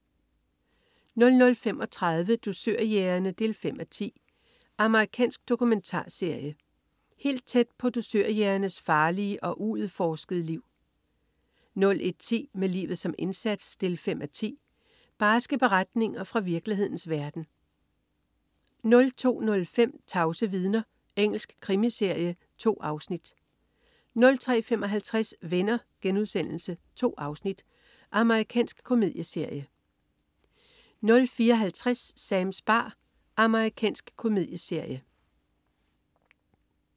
00.35 Dusørjægerne 5:10. Amerikansk dokumentarserie. Helt tæt på dusørjægernes farlige og uudforskede liv 01.10 Med livet som indsats 5:10. Barske beretninger fra virkelighedens verden 02.05 Tavse vidner. Engelsk krimiserie. 2 afsnit 03.55 Venner.* 2 afsnit. Amerikansk komedieserie 04.50 Sams bar. Amerikansk komedieserie